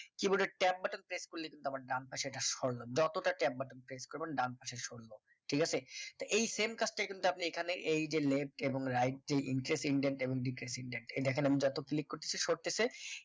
key board এ tab button press করলে কিন্তু আমার ডান পাশে এটা সরল যতটা tab button press করবেন ডান পাশে চললো ঠিক আছে? তো এই কাজটা কিন্তু আপনি এখানে এই যে left এবং right যে intent intend এবং defence intend এই দেখেন আমি যত করতেছি সরতেছি